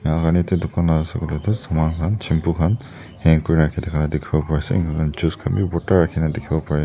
tuh dukan la osor dae tuh saman khan shampoo khan hang kuri rakhi thaka dekhevole pare ase enika hona juice khan bhi bhorta rakina dekhevo parey.